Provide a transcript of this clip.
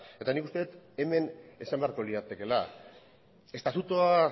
eta nik uste dut hemen esan beharko liratekeela estatutua